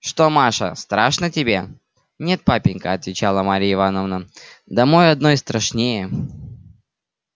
что маша страшно тебе нет папенька отвечала марья ивановна домой одной страшнее